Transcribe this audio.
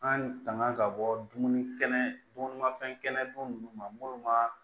An tanga ka bɔ dumuni kɛnɛ dun ma fɛn kɛnɛ dun ma minnu ma